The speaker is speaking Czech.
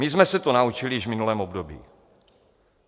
My jsme se to naučili již v minulém období.